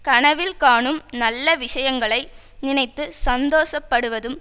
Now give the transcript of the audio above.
கனவில் காணும் நல்ல விஷயங்களை நினைத்து சந்தோஷப்படுவதும்